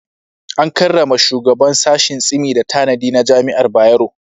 An karrama shugaban sashin Tsimi da tanadi na Jami'ar Bayero.